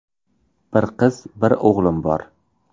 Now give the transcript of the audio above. Bir qiz, bir o‘g‘lim bor.